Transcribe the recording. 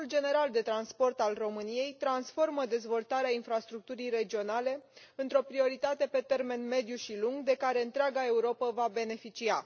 Planul General de Transport al României transformă dezvoltarea infrastructurii regionale într o prioritate pe termen mediu și lung de care întreaga Europă va beneficia.